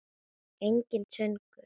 Enginn söngur.